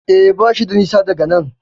E, bashi da nisa daga nan.